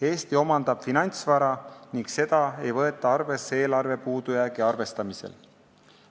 Eesti omandab finantsvara ning seda ei võeta arvesse eelarve puudujäägi arvestamisel.